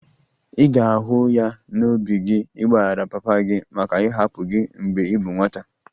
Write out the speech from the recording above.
Ị ga-ahụ ya n'obi gị ịgbaghara papa gị maka ịhapụ gị mgbe ị bụ nwata?